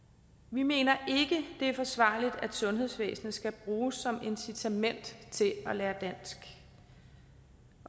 vi mener det er forsvarligt at sundhedsvæsenet skal bruges som incitament til at lære dansk